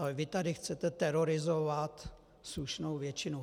Ale vy tady chcete terorizovat slušnou většinu.